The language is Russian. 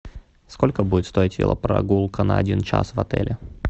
сколько будет стоить велопрогулка на один час в отеле